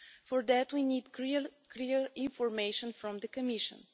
For that, we need clear information from the Commission.